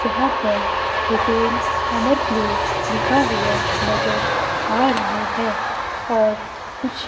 जहां पर hotel Amar place लिखा हुआ नजर आ रहा है और कुछ--